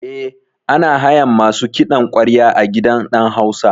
Eh, ana hayan masu kiɗan ƙwarya a gidan ɗan hausa